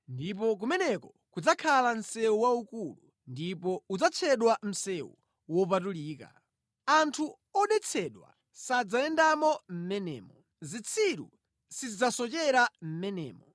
Ndipo kumeneko kudzakhala msewu waukulu; ndipo udzatchedwa Msewu Wopatulika. Anthu odetsedwa sadzayendamo mʼmenemo; zitsiru sizidzasochera mʼmenemo.